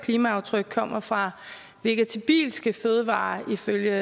klimaaftryk kommer fra vegetabilske fødevarer ifølge